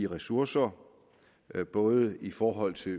ressourcer både i forhold til